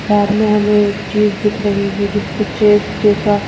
सामने हमें एक चीज दिख रही है जिस पे चेस जैसा--